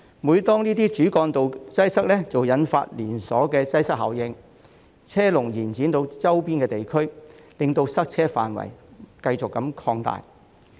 每當這些主幹道擠塞，即會引發連鎖擠塞效應，車龍延伸至周邊地區，令塞車範圍繼續擴大。